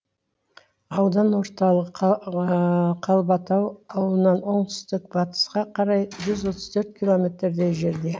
аудан орталығы қалбатау ауылынан оңтүстік батысқа қарай жүз отыз төрт километрдей жерде